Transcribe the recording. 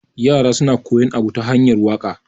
yara suna koyan Abu ta hanyar waka